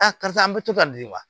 karisa an bɛ to ka di wa